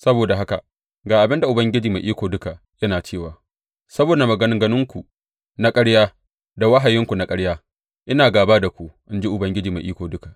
Saboda haka ga abin da Ubangiji Mai Iko Duka yana cewa saboda maganganunku na ƙarya da wahayinku na ƙarya, ina gāba da ku, in ji Ubangiji Mai Iko Duka.